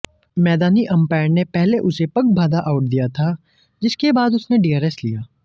मैदानी अंपायर ने पहले उसे पगबाधा आउट दिया था जिसके बाद उसने डीआरएस लिया